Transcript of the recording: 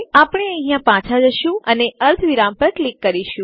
આપણે અહીંયા પાછા જશું અને અર્ધવિરામ પર ક્લિક કરીશું